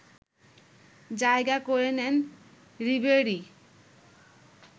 জায়গা করে নেন রিবেরি